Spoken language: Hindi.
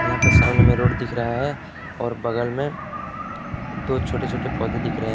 यहां पे सामने में रोड दिख रहा है और बगल में दो छोटे छोटे पौधे दिख रहे--